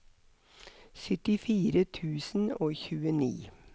syttifire tusen og tjueni